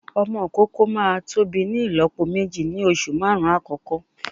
Ọmọ ìkókó máa tóbi ní ìlópo méjì ní oṣù márùn-ún àkọ́kọ́